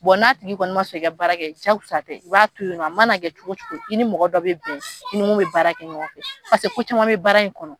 n'a tigi kɔni ma son i ka baara kɛ jakosa tɛ i b'a to ye nɔ, a mana kɛ cogo cogo i ni mɔgɔ dɔ bɛ bɛn si i ni mun bɛ baarakɛ ɲɔgɔn fɛ paseke ko caman bɛ baara in kɔnɔ.